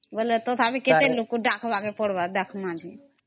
ତଥାପି କେତେ ଲୋକ କେ ଡା଼କମ କେ ପଡିବ